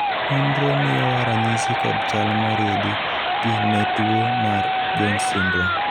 nonro miyowa ranyisi kod chal moriedi gi ne tuo mar Jones syndrome